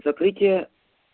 закрытие